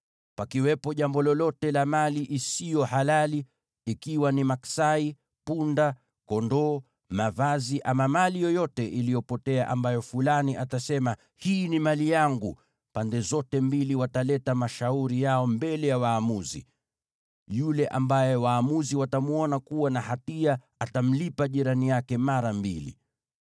Pakiwepo jambo lolote la mali isiyo halali, ikiwa ni maksai, punda, kondoo, mavazi, ama mali yoyote iliyopotea ambayo fulani atasema, ‘Hii ni mali yangu,’ pande zote mbili wataleta mashauri yao mbele ya waamuzi. Yule ambaye waamuzi watamwona kuwa na hatia atamlipa jirani yake mara mbili.